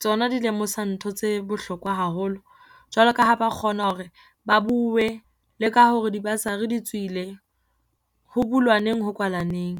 tsona di lemosa ntho tse bohlokwa haholo, jwalo ka ha ba kgona hore ba bue le ka hore dibasari di tswile, ho bulwa neng ho kwala neng.